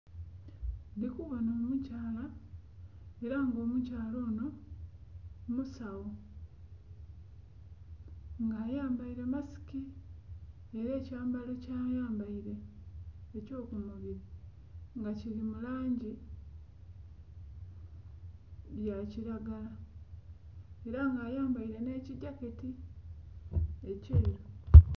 Ndhi kubonha omu kyala era nga omukyala onho musagho nga ayambaire masiki nga era ekyambalo kya yambaire ekyo ku mubiri nga kili mu langi ya kilagala era nga ayambaire nhe kigyaketi ekyeru.